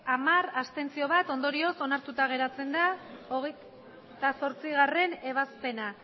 hamar abstentzioak bat ondorioz onartuta geratzen da hogeita zortzigarrena ebazpena